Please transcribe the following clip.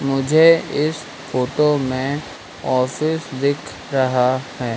मुझे इस फोटो मैं ऑफिस दिख रहा हैं।